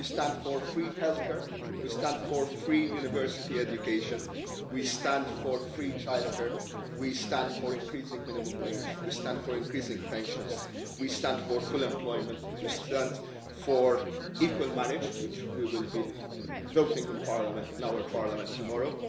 for. We stand for free healthcare, we stand for free university education, we stand for free childcare, we stand for increasing the minimum wage, we stand for increasing pensions, we stand for full employment, and we stand for equal marriage, on which we will be voting in our Parliament